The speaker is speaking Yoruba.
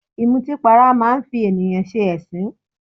Ìmutípara máa ń fi ènìyàn ṣe ẹ̀sín